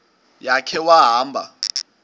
ya khe wahamba